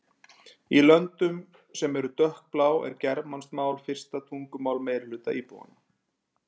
Í löndum sem eru dökkblá er germanskt mál fyrsta tungumál meirihluta íbúanna.